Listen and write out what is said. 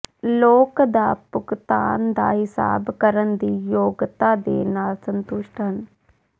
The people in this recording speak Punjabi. ਲੋਕ ਦਾ ਭੁਗਤਾਨ ਦਾ ਹਿਸਾਬ ਕਰਨ ਦੀ ਯੋਗਤਾ ਦੇ ਨਾਲ ਸੰਤੁਸ਼ਟ ਹਨ